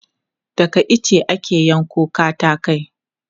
Daga ice ake yanko katakai.